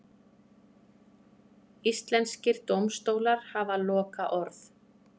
Íslenskir dómstólar hafa lokaorð